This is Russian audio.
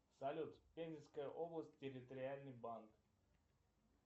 салют пензенская область территориальный банк